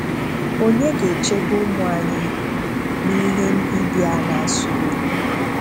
Onye ga-echebe ụmụ anyị n'ihe mbibi a na-asọ oyi?